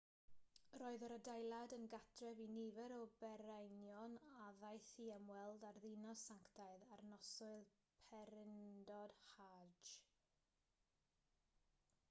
roedd yr adeilad yn gartref i nifer o bererinion a ddaeth i ymweld â'r ddinas sanctaidd ar noswyl pererindod hajj